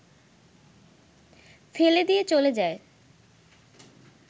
ফেলে দিয়ে চলে যায়